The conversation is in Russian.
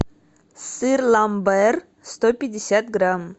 сыр ламбер сто пятьдесят грамм